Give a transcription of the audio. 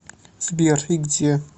сбер и где